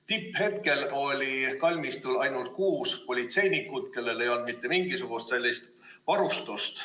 Tipphetkel oli kalmistul ainult kuus politseinikku, kellel ei olnud mitte mingisugust sellist varustust.